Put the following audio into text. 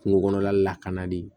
Kungo kɔnɔla lakanali